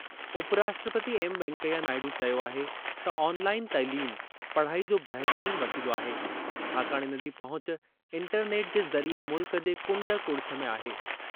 उपराष्ट्रपति एम वैंकेया नायडू चयो आहे त ऑनलाइन तइलीम, पढ़ाई जो बहितरीन वसीलो आहे छाकाणि इन जी पहुच इंटरनेट जे ज़रिए मुल्क जे कुंड कड़िछ में आहे।